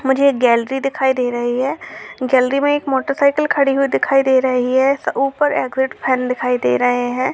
मुझे एक गैलरी दिखाई दे रही है। गैलरी मे एक मोटरसाईकिल खड़ी हुई दिखाई दे रही है। ऊपर एग्जिट फैन दिखाई दे रहे हैं।